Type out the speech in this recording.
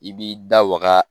I b'i da waga